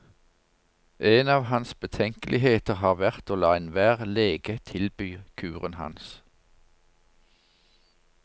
En av hans betenkeligheter har vært å la enhver lege tilby kuren hans.